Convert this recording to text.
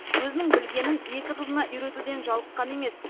өзінің білгенін екі қызына үйретуден жалыққан емес